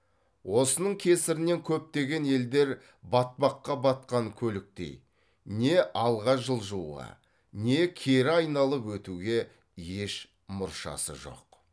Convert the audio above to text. осының кесірінен көптеген елдер батпаққа батқан көліктей не алға жылжуға не кері айналып өтуге еш мұршасы жоқ